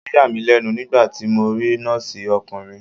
Ó yà mí lẹ́nu nígbàtí mo rí Nọ́ọ̀sì ọkùnrin.